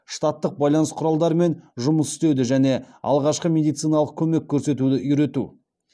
штаттық байланыс құралдарымен жұмыс істеуді және алғашқы медициналық көмек көрсетуді үйрету